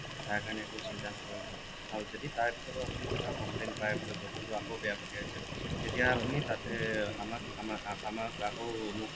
তাৰ কাৰণে একো চিন্তা নকৰিব আৰু যদি তাৰ পিছতো আপুনি কিবা complain পায় বোলে বস্তুটো আকৌ বেয়া পঠিয়াইছে তেতিয়া আপুনি তাতে আমাক আমাক আমাক আকৌ মোক